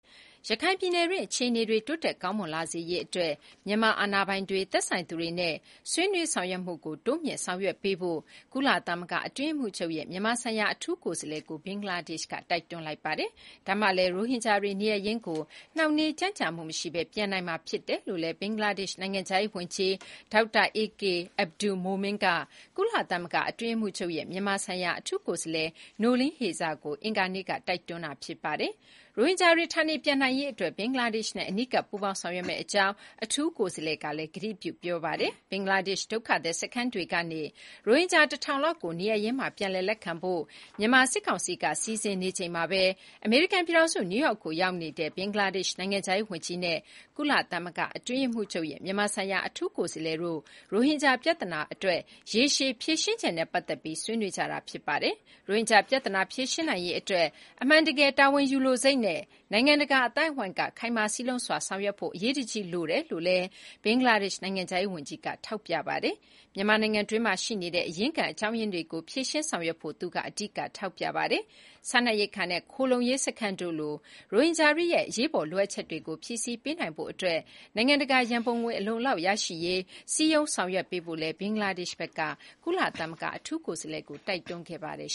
ရခိုင်ပြည်နယ်တွင်း အခြေအနေတွေ တိုးတက်ကောင်းမွန်လာစေရေးအတွက် မြန်မာ အာဏာပိုင်တွေ၊ သက်ဆိုင်သူတွေနဲ့ ဆွေးနွေးဆောင်ရွက်မှုကို တိုးမြှင့်ဆောင်ရွက်ပေးဖို့ ကုလသမဂ္ဂ အတွင်းရေးမှူးချုပ်ရဲ့ မြန်မာဆိုင်ရာ အထူးကိုယ်စားလှယ်ကို ဘင်္ဂလားဒေ့ရှ်က တိုက်တွန်းလိုက်ပါတယ်။ ဒါမှလည်း ရိုဟင်ဂျာတွေ နေရပ်ရင်းကို နှောင့်နှေးကြန့်ကြာမှုမရှိဘဲ ပြန်နိုင်မှာဖြစ်တယ်လို့လည်း ဘင်္ဂလားဒေ့ရှ်နိုင်ငံခြားရေးဝန်ကြီး ဒေါက်တာ A K Abdul Momen က ကုလသမဂ္ဂ အတွင်းရေးမှူးချုပ်ရဲ့ မြန်မာဆိုင်ရာအထူးကိုယ်စားလှယ် Noeleen Heyzer ကို အင်္ဂါနေ့က တိုက်တွန်းလိုက်တာ ဖြစ်ပါတယ်။ ရိုဟင်ဂျာတွေ ဌာနေပြန်နိုင်ရေး ဘင်္ဂလားဒေ့ရှ်နဲ့ အနီးကပ် ပူးပေါင်းဆောင်ရွက်မယ့်အကြောင်း အထူးကိုယ်စားလှယ် Noeleen Heyzer ကလည်း ကတိပြုပြောဆိုခဲ့ပါတယ်။ ဘင်္ဂလားဒေ့်ရှ်ဒုက္ခသည် စခန်းတွေကနေ ရိုဟင်ဂျာ ၁,၀၀၀ လောက်ကို နေရပ်ရင်းမှာ ပြန်လည်လက်ခံဖို့ မြန်မာစစ်ကောင်စီက စီစဉ်နေချိန်မှာပဲ အမေရိကန်ပြည်ထောင်စု နယူးယောက်ကို ရောက်ရှိနေတဲ့ ဘင်္ဂလားဒေ့ရှ် နိုင်ငံခြားရေးဝန်ကြီးနဲ့ ကုလသမဂ္ဂ အတွင်းရေးမှူးချုပ်ရဲ့ မြန်မာဆိုင်ရာအထူးကိုယ်စားလှယ်တို့ ရိုဟင်ဂျာပြဿနာအတွက် ရေရှည် ဖြေရှင်းချက်နဲ့ပတ်သက်ပြီး ဆွေးနွေးကြတာဖြစ်ပါတယ်။ ရိုဟင်ဂျာပြဿနာကို ဖြေရှင်းနိုင်ရေးအတွက် အမှန်တကယ် တာဝန်ယူလိုစိတ်နဲ့ နိုင်ငံတကာအသိုင်းအဝိုင်းက ခိုင်မာစည်းလုံးစွာဆောင်ရွက်ဖို့ အရေးတကြီးလိုအပ်တယ်လို့လည်း ဘင်္ဂလားဒေ့ရှ် နိုင်ငံခြားရေးဝန်ကြီးက ထောက်ပြပြောဆိုခဲ့ပါတယ်။ မြန်မာနိုင်ငံတွင်းမှာရှိနေတဲ့ အရင်းခံအကြောင်းရင်းတွေကို ဖြေရှင်းဆောင်ရွက်ဖို့ သူက အဓိက ထောက်ပြခဲ့တာပါ။ စားနပ်ရိက္ခာနဲ့ ခိုလှုံရေး စခန်းတို့လို ရိုဟင်ဂျာတွေရဲ့အရေးပေါ် လိုအပ်ချက်တွေကို ဖြည့်ဆည်းပေးနိုင်ရေးအတွက် နိုင်ငံတကာရန်ပုံငွေ အလုံအလောက် ရရှိရေး စည်းရုံးဆောင်ရွက်ပေးဖို့လည်း ဘင်္ဂလားဒေရှ့်ဘက်က ကုလသမဂ္ဂ အထူးကိုယ်စားလှယ်ကို တောင်းဆိုခဲ့ပါတယ်